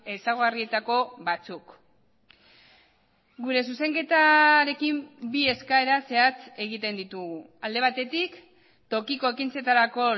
ezaugarrietako batzuk gure zuzenketarekin bi eskaera zehatz egiten ditugu alde batetik tokiko ekintzetarako